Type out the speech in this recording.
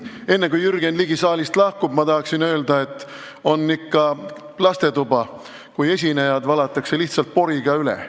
Enne kui Jürgen Ligi saalist lahkub, tahaksin öelda, et on see ikka lastetuba, kui esinejad valatakse lihtsalt poriga üle.